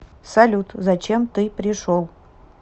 салют зачем ты пришел